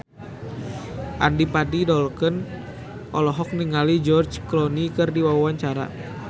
Adipati Dolken olohok ningali George Clooney keur diwawancara